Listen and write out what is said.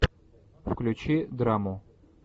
включи драму